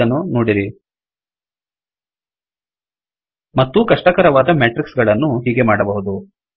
ಇಲ್ಲಿ ಇದನ್ನು ನೋಡಿರಿ ಮತ್ತೂ ಕಷ್ಟಕರವಾದ ಮೇಟ್ರಿಕ್ಸ್ ಗಳನ್ನು ಹೀಗೆ ಮಾಡಬಹುದು